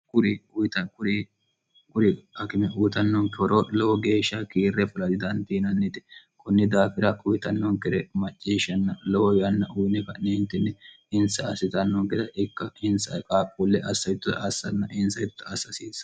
uriyikurikime uyitannoonke horo lowo geeshsha kiirre fila jidandiinannite kunni daafira kuyitannonkere macceeshshanna lowo yanna uyine ka'neentinni insa assitannoonkeda ikka insa qa qulle assitto assanna insa hitta assasiinsa